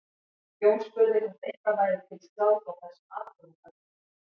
Jón spurði hvort eitthvað væri til skráð frá þessum atburðum öllum.